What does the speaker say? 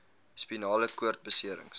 spinale koord beserings